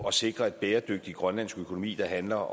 at sikre en bæredygtig grønlandsk økonomi der handler